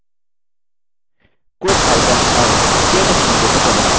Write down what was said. quit icon अब केthe window में प्रदर्शित होता है